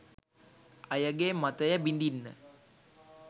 අයගේ මතය බිඳින්න